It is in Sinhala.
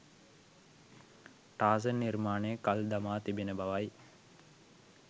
ටාසන් නිර්මාණය කල් දමා තිබෙන බවයි